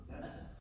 Ja